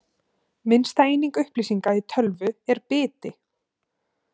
Minnsta eining upplýsinga í tölvu er biti.